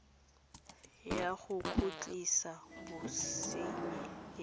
ya go khutlisa bosenyi e